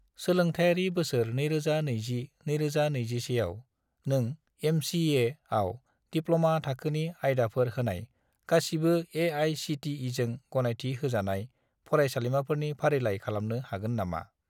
सोलोंथायारि बोसोर 2020 - 2021 आव, नों एम.चि.ए.आव दिप्ल'मा थाखोनि आयदाफोर होनाय गासिबो ए.आइ.सि.टि.इ.जों गनायथि होजानाय फरायसालिमाफोरनि फारिलाइ खालामनो हागोन नामा?